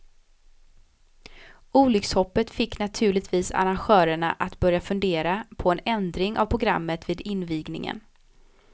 Olyckshoppet fick naturligtvis arrangörerna att börja fundera på en ändring av programmet vid invigningen.